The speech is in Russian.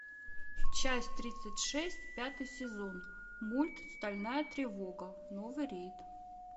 часть тридцать шесть пятый сезон мульт стальная тревога новый рейд